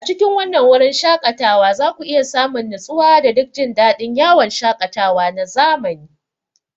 A cikin wannan wurin shaƙatawa za ku iya samun nutsuwa da duk jin daɗin yawon shaƙatawa na zamani.